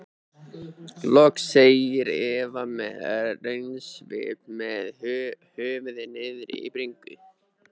Loks segir Eva með raunasvip með höfuðið niðri í bringu.